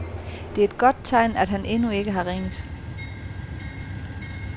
Det er et godt tegn, at han endnu ikke har ringet.